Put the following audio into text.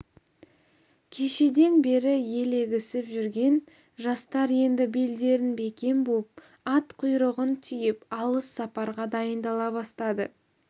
кешеден бері елегізіп жүрген жастар енді белдерін бекем буып ат құйрығын түйіп алыс сапарға дайындала бастады